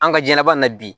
An ka diɲɛlabana na bi